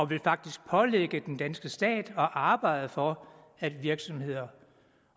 vil faktisk pålægge den danske stat at arbejde for at virksomheder